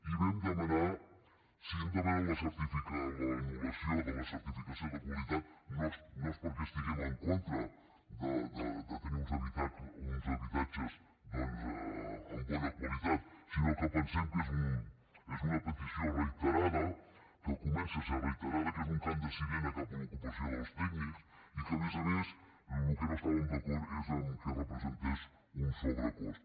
i si hem demanat l’anul·lació de la certificació de qualitat no és perquè estiguem en contra de tenir uns habitatges doncs amb bona qualitat sinó que pensem que és una petició reiterada que comença a ser reiterada que és un cant de sirena cap a l’ocupació dels tècnics i a més a més en el que no estàvem d’acord és en el fet que representés un sobrecost